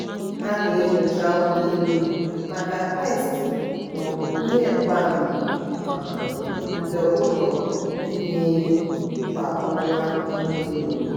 ha na-enyocha ụlọ elu maka peestị maọbụ ihe mgbaama um nke ụlọ ihi ehi kwa ọnwa ole na ole.